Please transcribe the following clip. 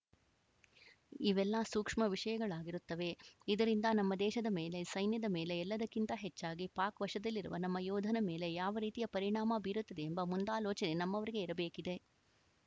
ಇವೆಲ್ಲ ಸೂಕ್ಷ್ಮ ವಿಷಯಗಳಾಗಿರುತ್ತವೆ ಇದರಿಂದ ನಮ್ಮ ದೇಶದ ಮೇಲೆ ಸೈನ್ಯದ ಮೇಲೆ ಎಲ್ಲದಕ್ಕಿಂತ ಹೆಚ್ಚಾಗಿ ಪಾಕ್‌ ವಶದಲ್ಲಿರುವ ನಮ್ಮ ಯೋಧನ ಮೇಲೆ ಯಾವ ರೀತಿಯ ಪರಿಣಾಮ ಬೀರುತ್ತದೆ ಎಂಬ ಮುಂದಾಲೋಚನೆ ನಮ್ಮವರಿಗೆ ಇರಬೇಕಿದೆ